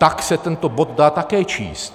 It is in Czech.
Tak se tento bod dá také číst.